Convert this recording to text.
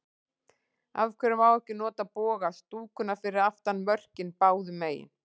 Af hverju má ekki nota boga stúkuna fyrir aftan mörkin báðu megin?